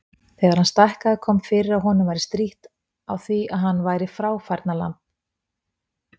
Þegar hann stækkaði kom fyrir að honum væri strítt á því að hann væri fráfærnalamb.